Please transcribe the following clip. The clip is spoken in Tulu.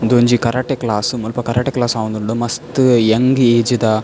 ಉಂದೊಂಜಿ ಕರಾಟೆ ಕ್ಲಾಸ್ ಮುಲ್ಪ ಕರಾಟೆ ಕ್ಲಾಸ್ ಆವೊಂದುಂಡು ಮಸ್ತ್ ಎಂಗ್ ಏಜ್ ದ --